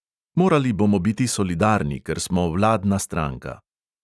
Morali bomo biti solidarni, ker smo vladna stranka.